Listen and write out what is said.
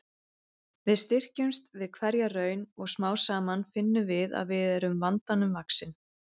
Við styrkjumst við hverja raun og smám saman finnum við að við erum vandanum vaxin.